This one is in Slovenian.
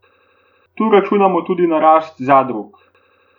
Tu računamo tudi na rast zadrug.